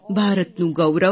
ભારતનું ગૌરવ